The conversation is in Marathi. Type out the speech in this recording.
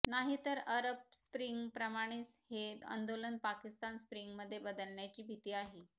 नाहीतर अरब स्प्रिंग प्रमाणेच हे आंदोलन पाकिस्तान स्प्रिंगमध्ये बदलण्याची भीती आहे